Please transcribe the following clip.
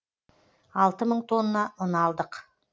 алты мың тонна ұн алдық